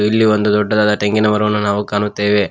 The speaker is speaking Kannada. ಇಲ್ಲಿ ಒಂದು ದೊಡ್ಡದಾದ ತೆಂಗಿನ ಮರವನ್ನು ನಾವು ಕಾಣುತ್ತೇವೆ.